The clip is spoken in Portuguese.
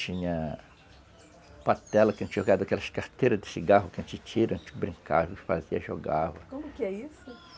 Tinha patela que a gente jogava daquelas carteiras de cigarro que a gente tira antes de brincar, a gente fazia, jogava. Como que é isso?